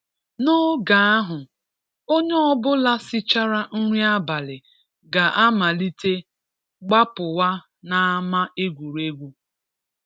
N’oge ahụ, onye ọbụla sichara nri abalị ga-amalite gbapụwa n’ama egwuregwu